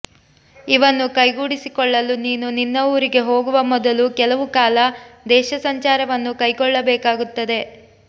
ಇವನ್ನು ಕೈಗೂಡಿಸಿಕೊಳ್ಳಲು ನೀನು ನಿನ್ನ ಊರಿಗೆ ಹೋಗುವ ಮೊದಲು ಕೆಲವು ಕಾಲ ದೇಶಸಂಚಾರವನ್ನು ಕೈಗೊಳ್ಳಬೇಕಾಗುತ್ತದೆ